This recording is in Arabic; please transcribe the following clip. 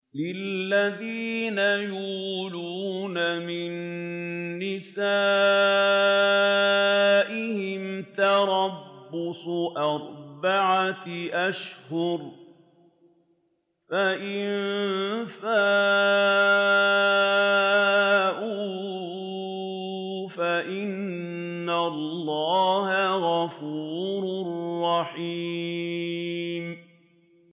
لِّلَّذِينَ يُؤْلُونَ مِن نِّسَائِهِمْ تَرَبُّصُ أَرْبَعَةِ أَشْهُرٍ ۖ فَإِن فَاءُوا فَإِنَّ اللَّهَ غَفُورٌ رَّحِيمٌ